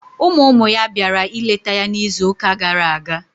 Ụmụ ụmụ ya bịara ịleta ya n'izuụka gara aga.